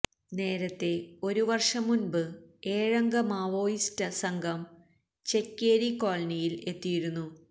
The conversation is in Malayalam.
നേരത്തെ ഒരു വര്ഷം മുന്പ് ഏഴംഗ മാവോയിസ്റ്റ് സംഘം ചെക്യേരി കോളനിയില് എത്തിയിരുന്നു